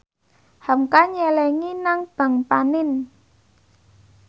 hamka nyelengi nang bank panin